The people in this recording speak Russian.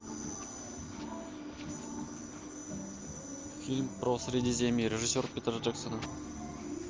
фильм про средиземье режиссер питер джексон